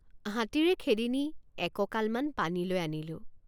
হাতীৰে খেদি নি একঁকালমান পানীলৈ আনিলোঁ।